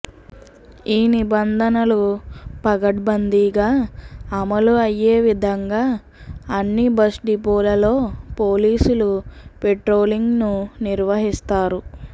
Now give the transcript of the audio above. ఈ నిబంధనలు పగద్బందీగా అమలు అయ్యే విధంగా అన్ని బస్ డిపోలలో పోలీసులు పెట్రోలింగ్ ను నిర్వహిస్తారు